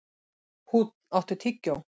Húnn, áttu tyggjó?